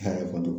Hɛrɛ kɔni